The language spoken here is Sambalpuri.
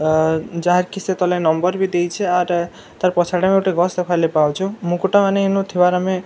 ଆ ଯାହାକି ସେ ତଲେ ନମ୍ବର ବି ଦେଇଛେ ଆର ତାର ପଛ୍‌ ଆଡେ ଗୁଟେ ଗଛ ଦେଖବାର୍‌ ଲାଗି ପାଉଛୁଁ ମୁକୁଟ ମାନେ ଇନୁ ଥିବାର ଆମେ ଆ ଦେଖ୍‌--